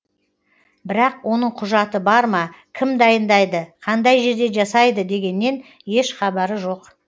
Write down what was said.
бірақ оның құжаты бар ма кім дайындайды қандай жерде жасайды дегеннен еш хабары жоқ